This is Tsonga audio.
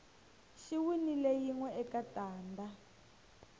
xi winile yinwe eka tanda